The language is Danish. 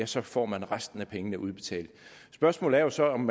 så får man resten af pengene udbetalt spørgsmålet er jo så om